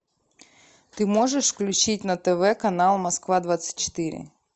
ты можешь включить на тв канал москва двадцать четыре